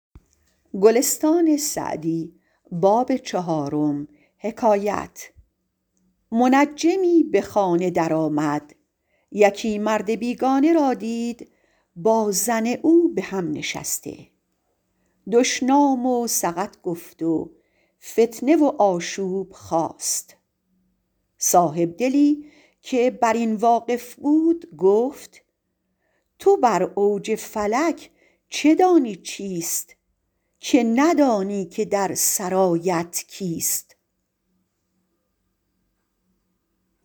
منجمی به خانه در آمد یکی مرد بیگانه را دید با زن او به هم نشسته دشنام و سقط گفت و فتنه و آشوب خاست صاحبدلی که بر این واقف بود گفت تو بر اوج فلک چه دانی چیست که ندانی که در سرایت کیست